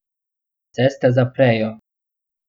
Ceste zaprejo.